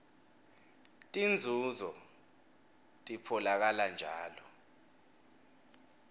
tinzunzo titfolakala njalo